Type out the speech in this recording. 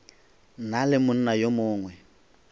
na le monna yo mongwe